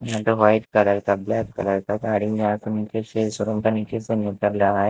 यहा पे white colour का ब्लैक कलर का गाड़ी यहां यहां शोरूम का नीचे से निकल रहा --